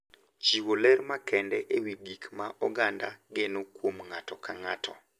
Chiwo ler makende e wi gik ma oganda geno kuom ng’ato ka ng’ato,